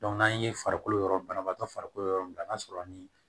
n'an ye farikolo yɔrɔ banabaatɔ farikolo yɔrɔ min na n'a sɔrɔ ni